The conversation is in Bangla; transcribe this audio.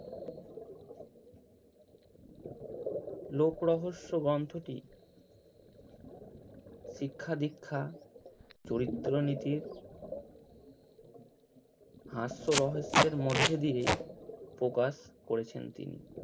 লোক রহস্য গ্রন্থটি শিক্ষা দিক্ষা চরিত্র নীতি হাস্য রহস্যের মধ্যে দিয়েই প্রকাশ করেছেন তিনি।